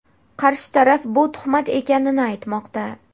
Qarshi taraf bu tuhmat ekanini aytmoqda.